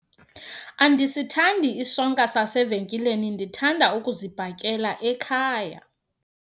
Andisithandi isonka sasevenkileni, ndithanda ukuzibhakela ekhaya.